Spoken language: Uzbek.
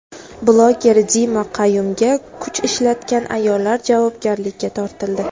Bloger Dima Qayumga kuch ishlatgan ayollar javobgarlikka tortildi.